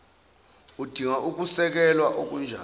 udinga ukusekelwa okunjani